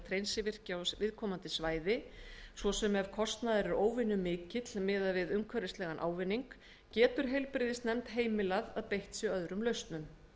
hreinsvirki á viðkomandi svæði svo sem ef kostnaður er óvenjumikill miðað við umhverfislegan ávinning getur heilbrigðisnefnd heimilað að beitt sé öðrum lausnum